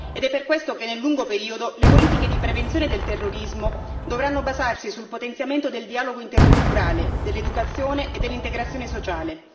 Ed è per questo che nel lungo periodo le politiche di prevenzione del terrorismo dovranno basarsi sul potenziamento del dialogo interculturale, dell'educazione e dell'integrazione sociale.